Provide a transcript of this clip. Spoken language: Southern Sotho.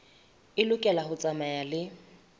e lokela ho tsamaya le